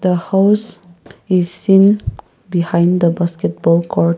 the house is seen behind the basketball court.